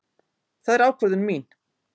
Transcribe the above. Það er ákvörðun mín.